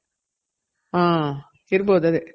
ಹ ಇರ್ಬೋದ್ ಅದೆ